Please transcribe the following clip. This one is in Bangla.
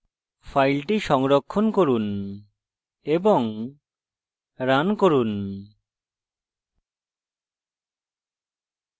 file সংরক্ষণ করুন এবং রান করুন